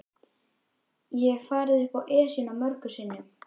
Ég hef farið upp Esjuna mörgum sinnum.